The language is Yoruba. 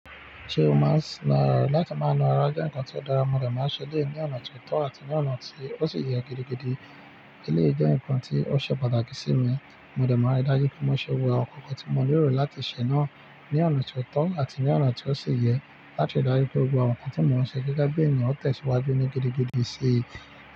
Ṣé o maa na ara? Láti máa na ara jẹ́ nǹkan tó dára, mo dẹ̀ máa ń ṣẹ́ eleyii ní ọ̀nà tó tọ́ àti ní ọ̀nà tí ó sì yẹ gidigidi. Eleyii jẹ́ nǹkan tí ó ṣe pàtàkì sí mi, mo dẹ̀ máa ń ri dájú pé mo ṣe gbogbo awọn nkankan tí mo nílò láti ṣè náà ní ọ̀nà tó tọ́ àti ní ọ̀nà tí ó sì yẹ láti rí dájú pé gbogbo àwọn nǹkan tí mo ń ṣe gẹ́gẹ́ bí ènìyàn ó tẹ̀ síwájú ní gidigidi sí i.